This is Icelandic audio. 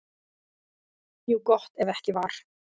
Jú, gott ef ekki var.